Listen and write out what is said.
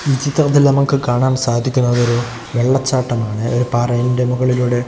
ഈ ചിത്രത്തിൽ നമുക്ക് കാണാൻ സാധിക്കുന്നത് ഒരു വെള്ളച്ചാട്ടമാണ് ഒരു പാറയിൻറെ മുകളിലൂടെ--